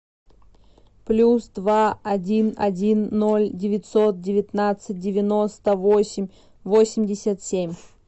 плюс два один один ноль девятьсот девятнадцать девяносто восемь восемьдесят семь